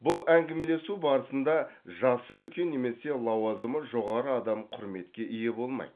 бұл әңгімелесу барысында жасы үлкен немесе лауазымы жоғары адам құрметке ие болмайды